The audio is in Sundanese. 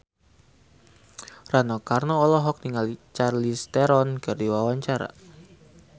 Rano Karno olohok ningali Charlize Theron keur diwawancara